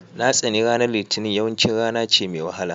Na tsani ranar litinin, yawanci rana ce mai wahala